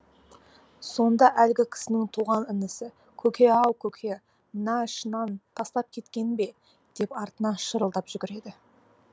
сонда әлгі кісінің туған інісі көке ау көке мына шыннан тастап кеткенің бе деп артынан шырылдап жүгіреді